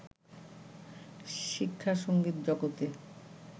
শিক্ষা-সংগীত জগতে